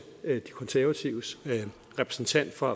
de konservatives repræsentant for